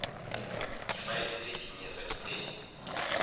difaele tse dinnye tsa diteng